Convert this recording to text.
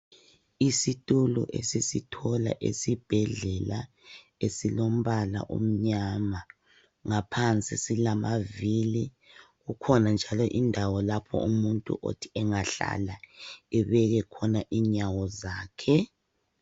Isitulo esisithola esibhedlela esilombala omnyama, ngaphansi silamavili kukhona njalo indawo lapho umuntu othi engahlala ebeke inyawo zakhe.